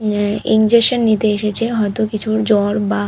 নেয়। ইনজেকশন নিতে এসেছে হয়তো কিছু ওর জ্বর বা --